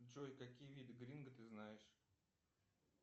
джой какие виды гринго ты знаешь